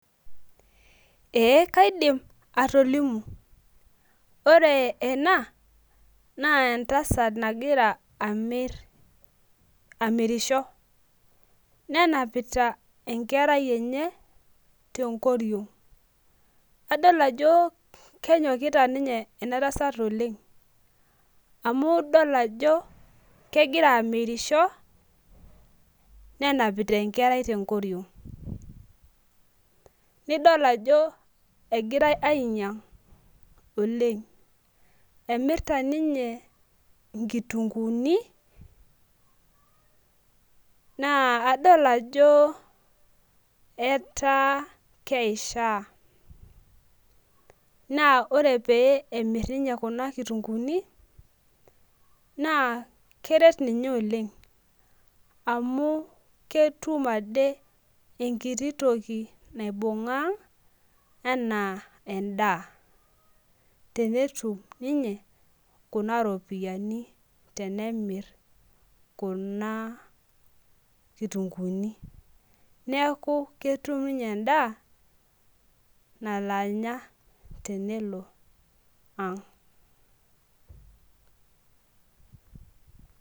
Ee kaidim atolimu ore ena naa entasat nagira amir amirisho. nenapita enkerai enye tenkoriong. adol ajo kenyokita ena tasat oleng. amu idol ajo kegira amirisho ne apita enkerai tenkoriong. nidol ajo egirae ainyiang oleng. emirta ninye nkitunkuuni naa adol ajo, etaa keishaa. naa ore pee emir ninye Kuna kitunkuuni naa keret ninye Oleng amu ketum Ade enkiti toki naibungaa aang' anaa edaa. tenetum ninye Kuna ropiyiani aaku keetae ewueji nemirieki Kuna kitunkuuni. neeku ketum ninye endaa nalo Anya tenelo ang.